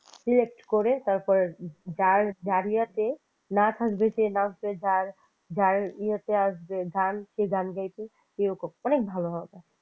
salect করে তারপর যার যার ইয়েতে নাচ থাকবে সে নাচবে যার ইয়েতে আসবে গান সে গান গাইবে এরকম অনেক ভালো হবে।